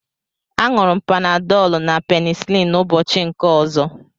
A ñuru m Panadolu na penicilin ụbọchị nke ọzọ